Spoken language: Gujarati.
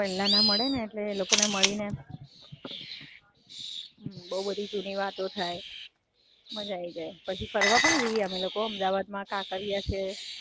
મજા આઈ જાય. પછી ફરવા પણ જી અમે લોકો, કાંકરિયા છે,